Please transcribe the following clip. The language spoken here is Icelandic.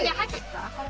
að hætta